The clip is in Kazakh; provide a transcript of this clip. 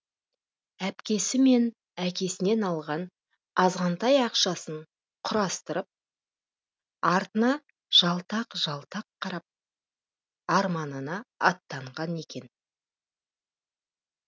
әпкесі мен әкесінен алған азғантай ақшасын құрастырып артына жалтақ жалтақ қарап арманына аттанған екен